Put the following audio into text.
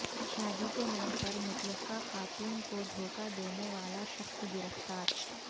شادی کے نام پر مطلقہ خاتون کو دھوکہ دینے والا شخص گرفتار